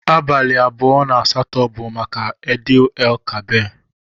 Abali abụọ na asatọ bu maka id el kabir.